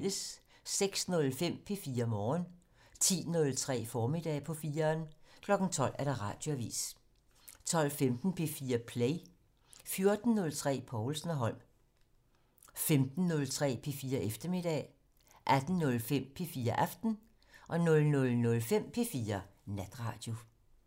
06:05: P4 Morgen 10:03: Formiddag på 4'eren 12:00: Radioavisen 12:15: P4 Play 14:03: Povlsen og Holm 15:03: P4 Eftermiddag 18:05: P4 Aften 00:05: P4 Natradio